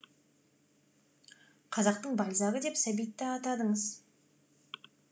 қазақтың бальзагі деп сәбитті атадыңыз